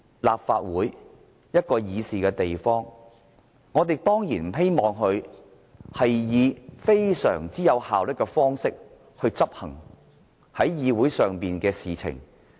立法會是一個議事的地方，我們當然不希望立法會以非常"有效率"的方式處理議會事務。